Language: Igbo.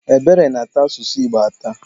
Ebere na-ata asụsụ Igbo atà.